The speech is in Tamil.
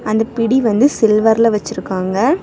அந்த பிடி வந்து சில்வர்ல வச்சிருக்காங்க.